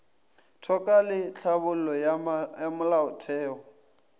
toka le tlhabollo ya molaotheo